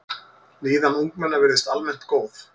Líðan ungmenna virðist almennt góð.